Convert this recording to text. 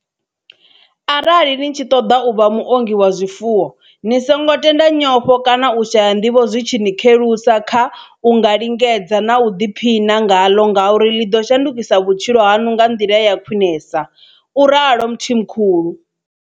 Arali ni tshi ṱoḓa u vha muongi wa zwifuwo, ni songo tenda nyofho kana u shaya nḓivho zwi tshi ni khelusa kha u nga lingedza na u ḓiphiṋa ngaḽo ngauri ḽi ḓo shandukisa vhutshilo haṋu nga nḓila ya khwiṋesa, u ralo Mthimkhulu.